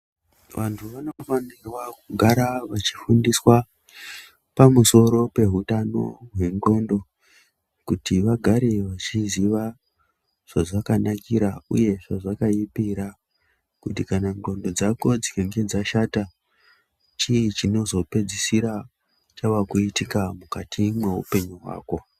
Vantu vanofanira kugara vachifundiswa pamusoro pehutano hwendxondo kuti vagare vachiziva zvazvakanakira uye zvazvakaipira, kuti kana ndxondo dzako dzikange dzashata chii chinozopedzisira chakuitika mukati mwehupenyu hwako.